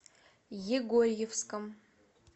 егорьевском